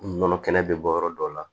Nɔnɔ kɛnɛ bɛ bɔ yɔrɔ dɔw la